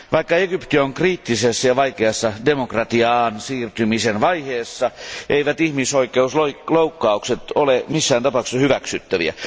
Vaikka Egypti on kriittisessä ja vaikeassa demokratiaan siirtymisen vaiheessa, eivät ihmisloukkaukset ole missään tapauksessa hyväksyttäviä.